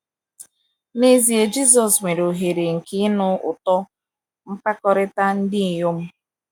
N’ezie, Jisọs nwere ohere nke ịnụ ụtọ mkpakọrịta ndị inyom.